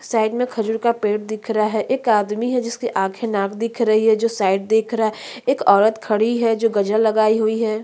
Side में खजूर का पेड़ दिख रहा है एक आदमी है जिसका आंखे नाक दिख रही है जो साइड देख रहा है एक औरत खड़ी है जो गजरा लगाई हुई है।